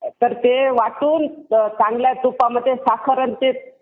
तर ते वाटून चांगल्या तुपामध्ये साखर आणि ते